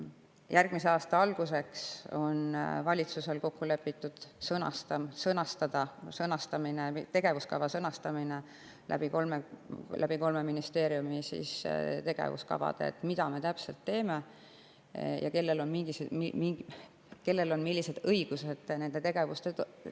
Valitsuses on kokku lepitud, et järgmise aasta alguseks sõnastatakse tegevuskava kolme ministeeriumi tegevuskavade: mida me täpselt teeme ja kellel on millised õigused nende tegevuste puhul.